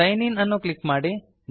sign ಇನ್ ಅನ್ನು click ಮಾಡಿ